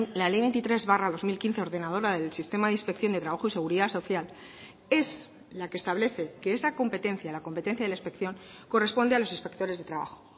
la ley veintitrés barra dos mil quince ordenadora del sistema de inspección de trabajo y seguridad social es la que establece que esa competencia la competencia de la inspección corresponde a los inspectores de trabajo